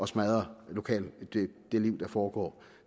smadre det liv der foregår